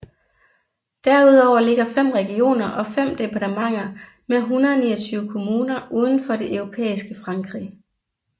Derudover ligger fem regioner og fem departementer med 129 kommuner uden for det europæiske Frankrig